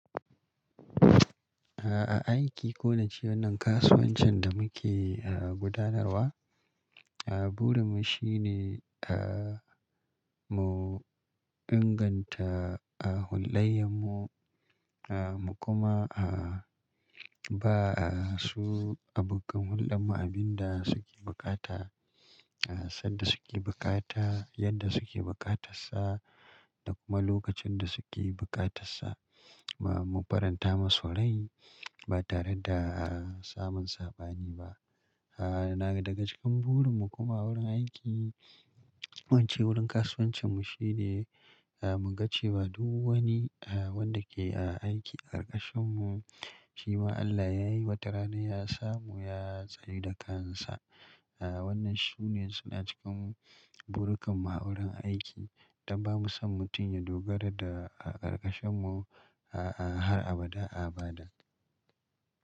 A aiki ko na ce wnanan kasuwancin da muke a gudanarwa, a burin mu shine mu inganta a hullayen a mu kuma a ba su abokan hullɗen mu abin da suke buƙata, a sanda suke bukata, yadda suke bukatar sa da kuma lokacin da suke bukatar sa. Mu faranta masu rai ba tare da samun saɓani ba. Daga cikin burin mu kuma wurin aiki ko ince wurin kasuwancin mu shine mu ga cewa duk wani a wanda a ke aiki a ƙarƙashin mu shi ma Allah ya yi wata rana ya samu ya tsayu da kan sa. A wannan shine suna cikin burkan mu a wurin aiki don ba mu son mutum ya dogara da a ƙarƙashin mu a a har abada abada.